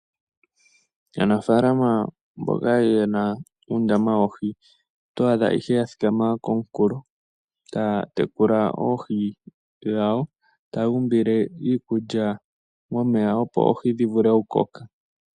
Aanafalama mboka yena uundama woohi otwa adha ihe ya thikama komunkulo taya tekula oohi dhawo. Taya uumbile iikulya momeya opo oohi dhi vule oku koka.